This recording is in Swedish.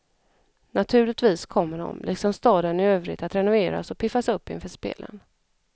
Naturligtvis kommer de, liksom staden i övrigt, att renoveras och piffas upp inför spelen.